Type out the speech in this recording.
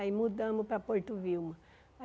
Aí mudamos para Porto Vilma.